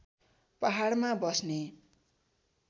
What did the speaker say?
पहाडमा बस्ने